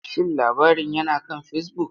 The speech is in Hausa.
Shin labarin yana kan Facebook?